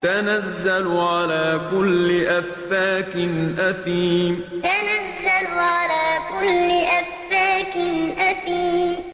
تَنَزَّلُ عَلَىٰ كُلِّ أَفَّاكٍ أَثِيمٍ تَنَزَّلُ عَلَىٰ كُلِّ أَفَّاكٍ أَثِيمٍ